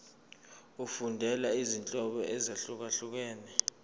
efundela izinhloso ezahlukehlukene